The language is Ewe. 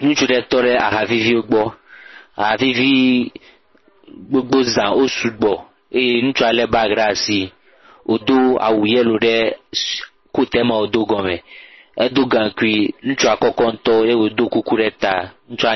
Ŋutsu ɖe tɔ ɖe aha vivi gbɔ. Aha vivi gbogbo zã, wo sugbɔ eye ŋutsua le bagi ɖe asi. Wodo awu yelo ɖe eh… koat e me wo do gɔme. Eɖo gankui, ŋutsua kɔkɔ ŋutɔ eye wodo kuku ɖe ta. Ŋutsua……..